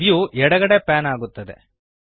view ಎಡಗಡೆಗೆ pan ಆಗುತ್ತದೆ